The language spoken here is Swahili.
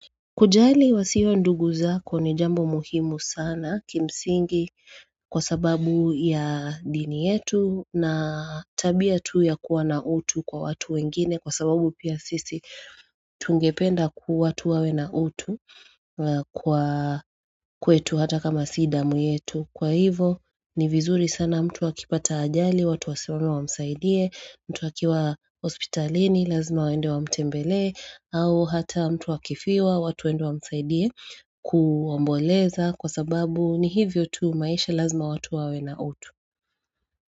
Kujali wasio ndugu zako ni jambo muhimu sana kimsingi kwa sababu ya dini yetu na tabia tu ya kuwa na utu kwa watu wengine kwa sababu pia sisi tungependa kuwa tu watu wawe na utu kwa kwetu hata kama si damu yetu Kwa hivo, ni vizuri sana mtu akipata ajali, watu wasimame wamsaidie, mtu akiwa hospitalini, lazima waende wamtembelee, au hata mtu akifiwa, watu waende wa msaidie kuomboleza kwa sababu ni hivyo tu maisha lazima watu wawe na utu.